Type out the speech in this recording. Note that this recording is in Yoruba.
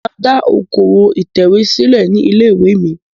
Mo máa dá okòwò ìtẹ̀wé sílẹ̀ ní ilé-ìwé mi.